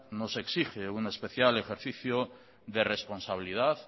nos exige un especial ejercicio de responsabilidad